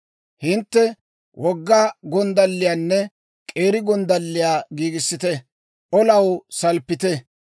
«Hintte wogga gonddalliyaanne k'eeri gonddalliyaa giigissite; olaw salppite!